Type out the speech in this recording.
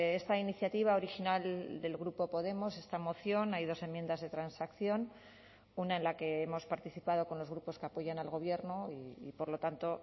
esta iniciativa original del grupo podemos esta moción hay dos enmiendas de transacción una en la que hemos participado con los grupos que apoyan al gobierno y por lo tanto